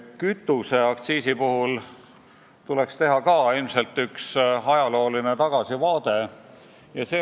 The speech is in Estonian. Kütuseaktsiisi puhul tuleks ilmselt ka üks ajalooline tagasivaade teha.